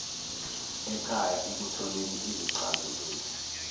ekhaya ekutholeni izixazululo